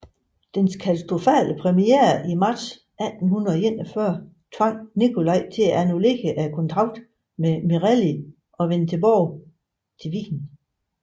Dens katastrofale premiere i marts 1841 tvang Nicolai til at annullere kontrakten med Merelli og vende tilbage til Wien